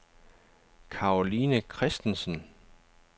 Caroline Kristensen